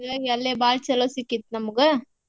ಹಿಂಗಾಗಿ ಬಾಳ್ ಚೊಲೋ ಸಿಕ್ಕಿತ್ ನಮ್ಗ.